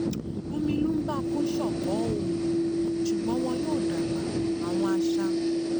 omi lumbar-puncture ko o ṣugbọn wọn yoo dagba awọn aṣa